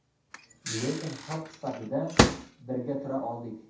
Lekin xalq sifatida birga tura oldik.